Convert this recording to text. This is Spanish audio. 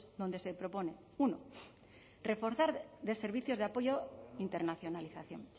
donde se propone uno reforzar de servicios de apoyo internacionalización